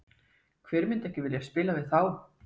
Hver myndi ekki vilja spila fyrir þá?